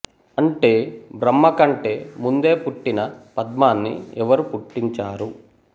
అంటే బ్రహ్మ కంటే ముందే పుట్టిన పద్మాన్ని ఎవరు పుట్టించారు